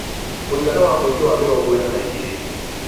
mũigana wa mũingĩ wa mĩrongo ĩna na igĩrĩ